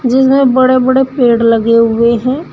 जिसमें बड़े बड़े पेड़ लगे हुए हैं।